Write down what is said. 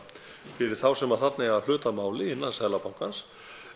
fyrir þá sem þarna eiga hlut að máli innan Seðlabankans